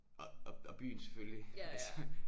Og og og byen selvfølgelig altså